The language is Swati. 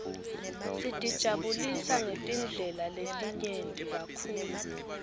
sitijabulisa ngetindlela letinyenti kakhulu